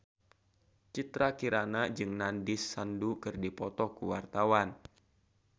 Citra Kirana jeung Nandish Sandhu keur dipoto ku wartawan